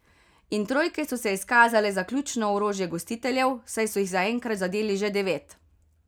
In trojke so se izkazale za ključno orožje gostiteljev, saj so jih zaenkrat zadeli že devet.